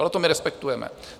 Ale to my respektujeme.